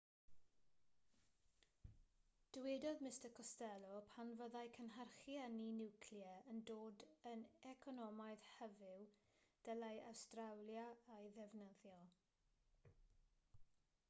dywedodd mr costello pan fyddai cynhyrchu ynni niwclear yn dod yn economaidd hyfyw dylai awstralia ei ddefnyddio